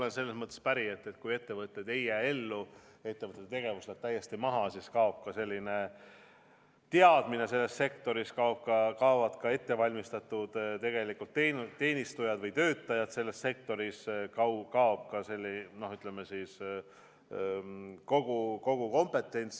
Ma olen selles mõttes päri, et kui ettevõte ei jää ellu, kui ettevõtte tegevus läheb täiesti maha, siis kaob ka teadmine selles sektoris, kaovad ka ettevalmistatud teenistujad või töötajad selles sektoris, kaob kogu kompetents.